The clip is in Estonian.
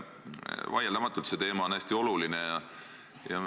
Vaieldamatult on see teema hästi oluline.